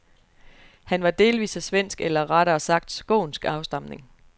Han var delvis af svensk eller rettere sagt skånsk afstamning.